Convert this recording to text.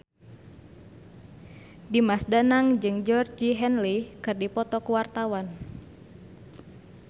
Dimas Danang jeung Georgie Henley keur dipoto ku wartawan